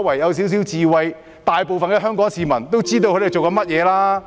不過，其實大部分香港市民都知道他們在做些甚麼。